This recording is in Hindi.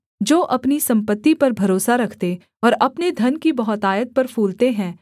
जो अपनी सम्पत्ति पर भरोसा रखते और अपने धन की बहुतायत पर फूलते हैं